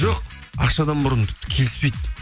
жоқ ақшадан бұрын тіпті келіспейді